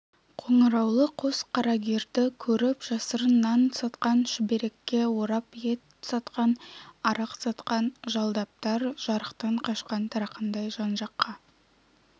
қоңыраулы қос қарагерді көріп жасырын нан сатқан шүберекке орап ет сатқан арақ сатқан жалдаптар жарықтан қашқан тарақандай жан-жаққа